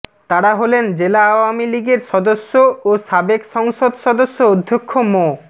তারা হলেন জেলা আওয়ামী লীগের সদস্য ও সাবেক সংসদ সদস্য অধ্যক্ষ মো